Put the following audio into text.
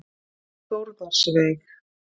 Þórðarsveig